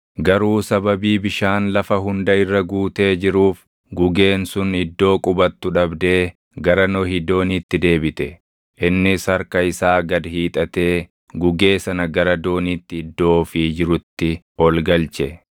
Garuu sababii bishaan lafa hunda irra guutee jiruuf gugeen sun iddoo qubatu dhabdee gara Nohi dooniitti deebite. Innis harka isaa gad hiixatee gugee sana gara dooniitti iddoo ofii jirutti ol galche.